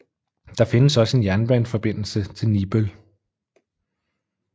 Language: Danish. Der findes også en jernbaneforbindelse til Nibøl